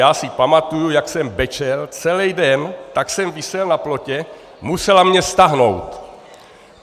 Já si pamatuji, jak jsem brečel celý den, tak jsem visel na plotě, musela mě stáhnout.